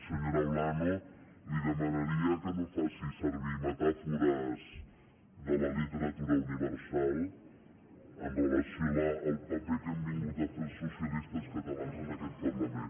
senyora olano li demanaria que no faci servir metàfores de la literatura universal amb relació al paper que hem vingut a fer els socialistes catalans en aquest parlament